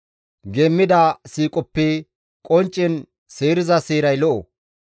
Geemmida siiqoppe qonccen seeriza seeray lo7o.